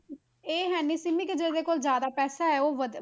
ਇਹ ਹੈ ਨੀ ਕਿ ਸਿੰਮੀ ਕਿਸੇ ਦੇ ਕੋਲ ਜ਼ਿਆਦਾ ਪੈਸਾ ਹੈ ਉਹ ਵੱਧ,